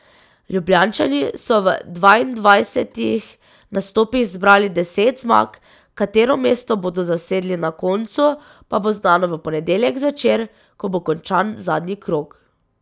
Ljubljančani so v dvaindvajsetih nastopih zbrali deset zmag, katero mesto bodo zasedli na koncu, pa bo znano v ponedeljek zvečer, ko bo končan zadnji krog.